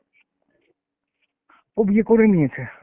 ও বিয়ে করে নিয়েছে।